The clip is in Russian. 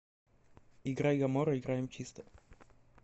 играй гамора играем чисто